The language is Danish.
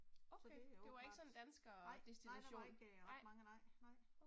Så det er jo åbenbart, nej, nej nej nej der er også mange nej, nej